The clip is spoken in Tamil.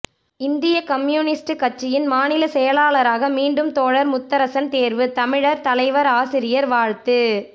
இந்திய கம்யூனிஸ்ட் கட்சியின் மாநில செயலாளராக மீண்டும் தோழர் முத்தரசன் தேர்வு தமிழர் தலைவர் ஆசிரியர் வாழ்த்து